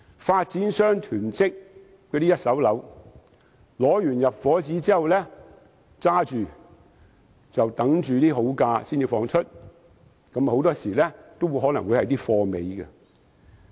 發展商囤積一手樓，先取得入伙紙，然後等價錢好的時候才出售，很多時候更可能只剩下貨尾單位。